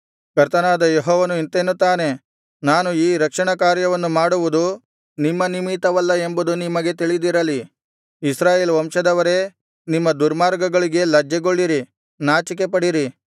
ಕರ್ತನಾದ ಯೆಹೋವನು ಇಂತೆನ್ನುತ್ತಾನೆ ನಾನು ಈ ರಕ್ಷಣ ಕಾರ್ಯವನ್ನು ಮಾಡುವುದು ನಿಮ್ಮ ನಿಮಿತ್ತವಲ್ಲ ಎಂಬುದು ನಿಮಗೆ ತಿಳಿದಿರಲಿ ಇಸ್ರಾಯೇಲ್ ವಂಶದವರೇ ನಿಮ್ಮ ದುರ್ಮಾರ್ಗಗಳಿಗೆ ಲಜ್ಜೆಗೊಳ್ಳಿರಿ ನಾಚಿಕೆಪಡಿರಿ